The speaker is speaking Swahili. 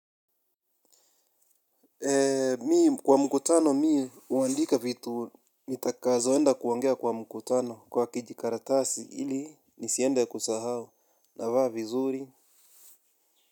Mimi kwa mkutano mimi huandika vitu nitakazoenda kuongea kwa mkutano kwa kijikaratasi ili nisiende kusahau navaa vizuri.